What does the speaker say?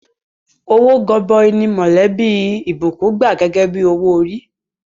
Owó gọbọi ni mọ̀lẹ́bí Blessing gbà gẹ́gẹ́ bí owó orí.